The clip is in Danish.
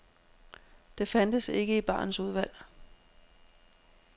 Det fandtes ikke i barens udvalg.